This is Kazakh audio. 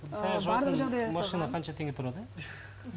қанша теңге тұрады